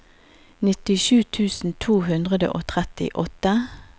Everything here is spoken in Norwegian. nittisju tusen to hundre og trettiåtte